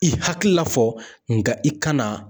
I hakilila fɔ nka i kana